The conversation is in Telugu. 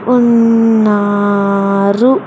ఉన్నారు.